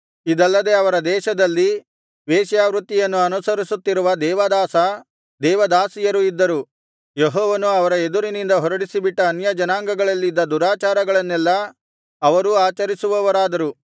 ಇದಲ್ಲದೆ ಅವರ ದೇಶದಲ್ಲಿ ವೇಶ್ಯಾವೃತ್ತಿಯನ್ನು ಅನುಸರಿಸುತ್ತಿರುವ ದೇವದಾಸ ದೇವದಾಸಿಯರು ಇದ್ದರು ಯೆಹೋವನು ಅವರ ಎದುರಿನಿಂದ ಹೊರಡಿಸಿಬಿಟ್ಟ ಅನ್ಯಜನಾಂಗಗಳಲ್ಲಿದ್ದ ದುರಾಚಾರಗಳನ್ನೆಲ್ಲಾ ಅವರೂ ಆಚರಿಸುವವರಾದರು